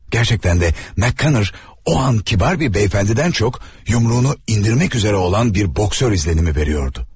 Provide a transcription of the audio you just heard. Həqiqətən də, MakKonnel o an nəzakətli bir cənabdan çox, yumruğunu endirmək üzrə olan bir boksçu təəssüratı verirdi.